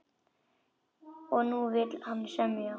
Og nú vill hann semja!